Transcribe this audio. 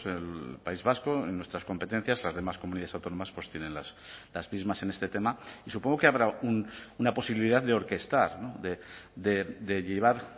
el país vasco en nuestras competencias las demás comunidades autónomas tienen las mismas en este tema y supongo que habrá una posibilidad de orquestar de llevar